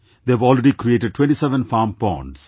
They have already created 27 farm ponds